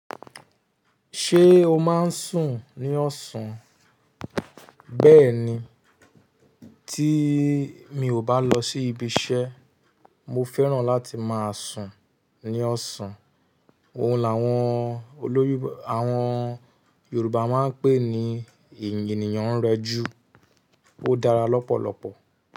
Ṣé o máa ń sùn ní ọ̀sán? Bẹ́ẹ̀ni, tí mi ò bá lọ sí ibi iṣẹ́, mo fẹ́ràn láti máa sùn ní ọ̀sán. Ohun làwọn olóyìnbó àwọn Yorùbá máa ń pè ní eèyan ènìyàn ń rẹjú. Ó dára lọ́pọ̀lọpọ̀.